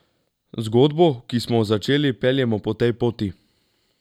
Zgodbo, ki smo jo začeli, peljemo po tej poti.